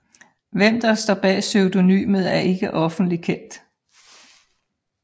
Hvem der står bag pseudonymet er ikke offentlig kendt